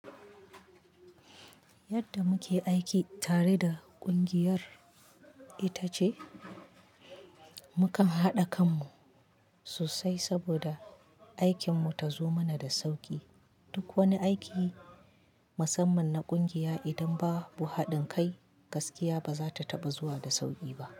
Yadda muke aiki tare da ƙungiyar ita ce, mu kan haɗa kanmu sosai saboda aikinmu ta zo mana da sauƙi. Duk wani aiki musamman na ƙungiya idan ba bu haɗin kai gaskiya ba za ta taɓa zuwa da sauƙi ba.